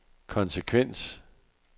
konsekvens